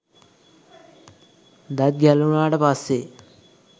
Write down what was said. දත් ගැලවුණාට පස්සේ